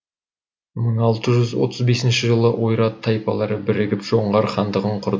мың алты жүз отыз бесінші жылы ойрат тайпалары бірігіп жоңғар хандығын құрды